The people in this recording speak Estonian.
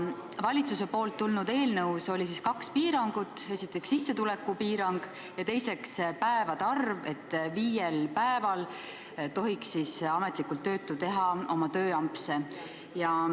Valitsuselt tulnud eelnõus oli kaks piirangut: esiteks, sissetuleku piirang, ja teiseks, päevade arv, st viiel päeval tohiks ametlikult töötu teha oma tööampse.